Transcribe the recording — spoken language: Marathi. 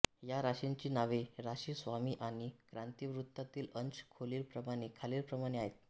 या राशींची नावे राशी स्वामी आणि क्रांतिवृत्तातील अंश खालीलप्रमाणे आहेत